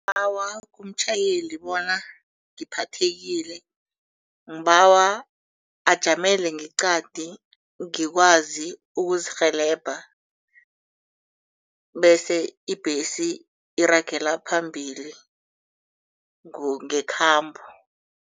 Ngibawa umtjhayeli bona ngiphathekile. Ngibawa ajamele ngeqadi ngikwazi ukuzikurhelebha bese ibhesi iragela phambili ngekhambo.